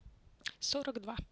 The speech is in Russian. сорок два